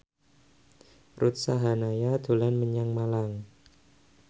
Ruth Sahanaya dolan menyang Malang